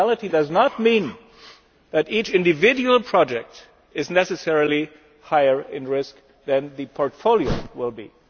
Additionality does not mean that each individual project is necessarily higher in risk than the portfolio will be.